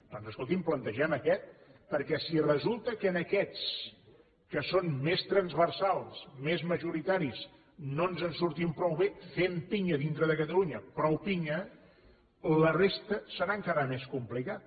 doncs escolti’m plantegem aquest perquè si resulta que en aquests que són més transversals més majoritaris no ens en sortim prou bé fem pinya dintre de catalunya prou pinya la resta serà encara més complicat